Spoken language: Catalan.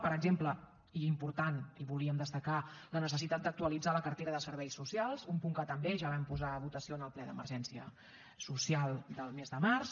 per exemple i important i ho volíem destacar la necessitat d’actualitzar la cartera de serveis socials un punt que també ja vam posar a votació en el ple d’emergència social del mes de març